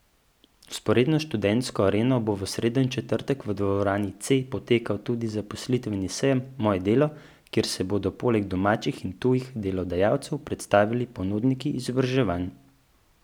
Vzporedno s Študentsko areno bo v sredo in četrtek v dvorani C potekal tudi zaposlitveni sejem Moje delo, kjer se bodo poleg domačih in tujih delodajalcev predstavili ponudniki izobraževanj.